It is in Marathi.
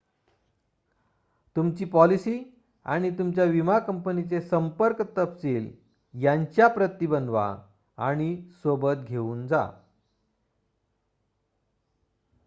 तुमची पॉलिसी आणि तुमच्या विमा कंपनीचे संपर्क तपशील यांच्या प्रती बनवा आणि सोबत घेऊन जा